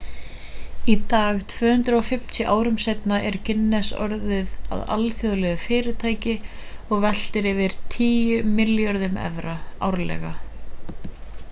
í dag 250 árum seinna er guinness orðið að alþjóðlegu fyrirtæki og veltir yfir 10 milljörðum evra 14,7 milljörðum usd árlega